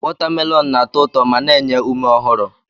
Watamelonụ na-atọ ụtọ ma na-enye ume ọhụrụ.